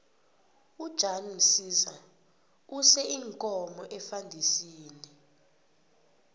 ujan msiza use iinkomo efandisini